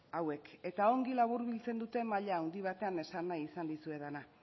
hauek eta ongi laburbiltzen dute maila handi batean esan nahi izan dizuedana